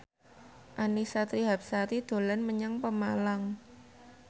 Annisa Trihapsari dolan menyang Pemalang